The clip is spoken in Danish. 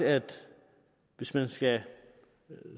hvis man skal